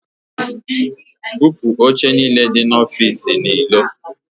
Bupu oche niile dị n'ọfici a n'ilo!